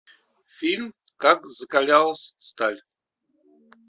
фильм как закалялась сталь